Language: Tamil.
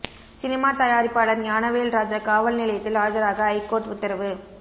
சினிமா தயாரிப்பாளர் ஞானவேல் ராஜா காவல் நிலையத்தில் ஆஜராக ஐகோர்ட் உத்தரவு